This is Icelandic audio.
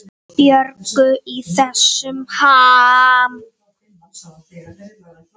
Björgu í þessum ham.